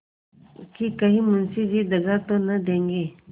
कि कहीं मुंशी जी दगा तो न देंगे